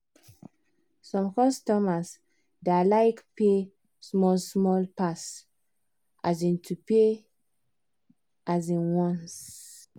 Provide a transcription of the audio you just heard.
some customer da like pay small small pass um to pay um once